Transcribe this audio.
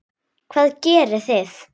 Hvað gerið þið?